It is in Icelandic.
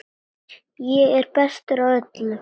Ég er bestur af öllum!